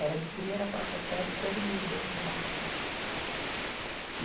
Era de primeira à quarta série, todo mundo dentro do barracão.